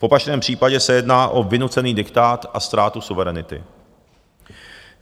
V opačném případě se jedná o vynucený diktát a ztrátu suverenity.